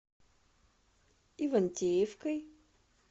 ивантеевкой